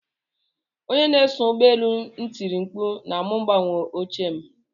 Onye na-eso ụgbọ elu n'etiri m mkpu ma mu gbanwee oche m.